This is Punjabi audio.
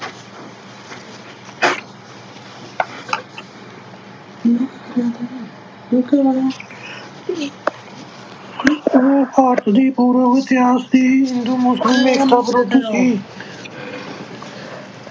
ਭਾਰਤ ਦੀ ਪੂਰਬ ਇਤਿਹਾਸ ਹਿੰਦੂ ਮੁਸਲਿਮ ਏਕਤਾ ਵਿਰੁੱਧ ਸੀ।